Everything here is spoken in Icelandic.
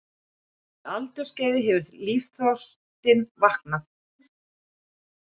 því aldursskeiði hefur lífsþorstinn vaknað.